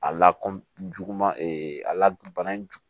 A la kɔjuguman a la bana jug